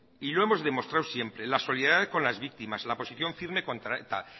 y lo hemos demostrado siempre la solidaridad con las víctimas la posición firme contra eta